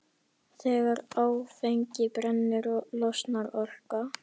Þegar áfengi brennur losnar orka.